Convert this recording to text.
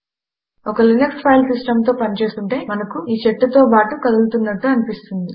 ఒక Linux file system తో పని చేస్తుంటే మనకు ఈ చెట్టు తో బాటు కదులుతున్నట్టు అనిపిస్తుంది